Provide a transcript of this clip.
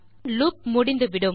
பின் loop முடிந்துவிடும்